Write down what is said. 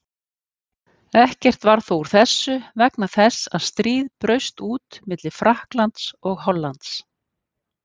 Ekkert varð þó úr þessu vegna þess að stríð braust út milli Frakklands og Hollands.